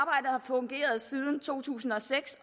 fungeret siden to tusind og seks